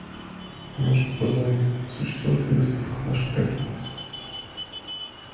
помощник узнай существует ли доставка в наш отель